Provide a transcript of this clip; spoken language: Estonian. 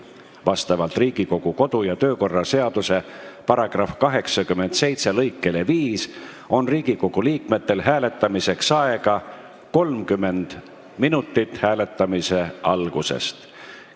Vastavalt Riigikogu kodu- ja töökorra seaduse § 87 lõikele 5 on Riigikogu liikmetel hääletamiseks aega 30 minutit hääletamise algusest arvates.